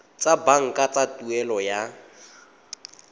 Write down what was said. tsa banka tsa tuelo ya